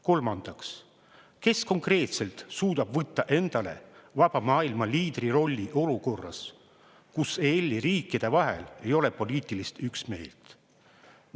Kolmandaks, kes konkreetselt suudab võtta endale vaba maailma liidri rolli olukorras, kus EL-i riikide vahel ei ole poliitilist üksmeelt?